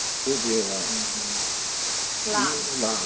Beber lá Lá Lá